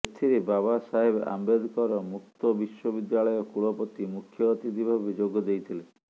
ଏଥିରେ ବାବା ସାହେବ ଆମ୍ବେଦକର ମୁକ୍ତ ବିଶ୍ୱବିଦ୍ୟାଳୟ କୁଳପତି ମୁଖ୍ୟ ଅତିଥି ଭାବେ ଯୋଗ ଦେଇଥିଲେ